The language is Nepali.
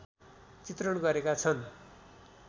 चित्रण गरेका छन्